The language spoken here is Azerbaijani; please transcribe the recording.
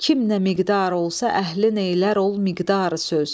Kim nə miqdar olsa əhlin eylər ol miqdar söz.